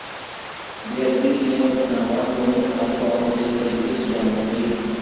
ਬੇਅਦਬੀ ਦੀਆਂ ਘਟਨਾਵਾਂ ਨੂੰ ਠੱਲ੍ਹ ਪਾਉਣ ਦੇ ਤਰੀਕੇ ਸੁਝਾਉਣ ਲਈ